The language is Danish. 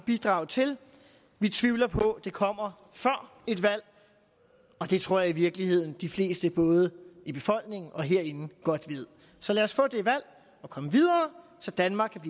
bidrage til vi tvivler på at det kommer før et valg og det tror jeg i virkeligheden de fleste både i befolkningen og herinde godt ved så lad os få det valg og komme videre så danmark